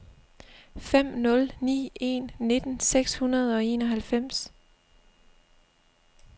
fem nul ni en nitten seks hundrede og enoghalvfems